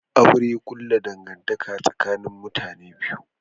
Aure kulla dangantaka tsakanin iyali biyu ne